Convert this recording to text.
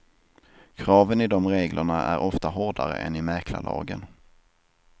Kraven i de reglerna är ofta hårdare än i mäklarlagen.